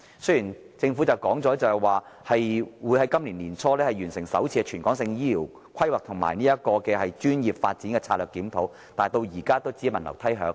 雖然政府已說會在本年年初完成首次全港性醫護人力規劃及專業發展策略檢討，但至今仍是只聞樓梯響。